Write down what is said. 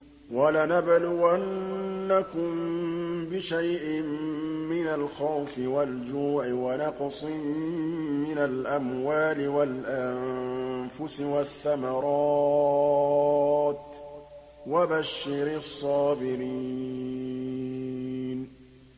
وَلَنَبْلُوَنَّكُم بِشَيْءٍ مِّنَ الْخَوْفِ وَالْجُوعِ وَنَقْصٍ مِّنَ الْأَمْوَالِ وَالْأَنفُسِ وَالثَّمَرَاتِ ۗ وَبَشِّرِ الصَّابِرِينَ